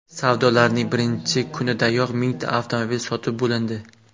Savdolarning birinchi kunidayoq mingta avtomobil sotib bo‘lindi.